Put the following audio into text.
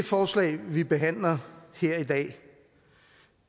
forslag vi behandler her i dag